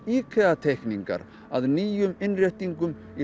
IKEA teikningar að nýjum innréttingum í